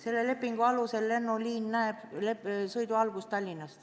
Selle lepingu alusel algab lennuliin Tallinnast.